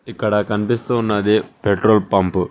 ఇక్కడ కనిపిస్తున్నది petrol pump .